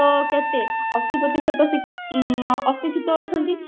ତ କେତେ ଅଶି ପ୍ରତିଶତ ଶି ଉଁ ଅଶିକ୍ଷିତ ଅଛନ୍ତି